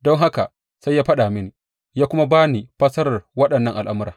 Don haka sai ya faɗa mini, ya kuma ba ni fassarar waɗannan al’amura.